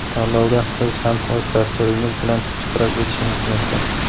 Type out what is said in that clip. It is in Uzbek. Tanlovda siz ham o‘z dasturingiz bilan ishtirok etishingiz mumkin.